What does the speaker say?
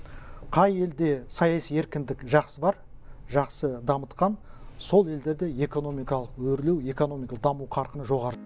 қай елде саяси еркіндік жақсы бар жақсы дамытқан сол елдерде экономикалық өрлеу экономикалық даму қарқыны жоғары